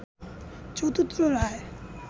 চতুর্থ রায়